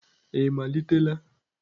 ị malitela?